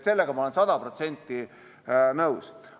Sellega olen ma sada protsenti nõus.